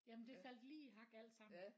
Jamen det faldt lige i hak alt sammen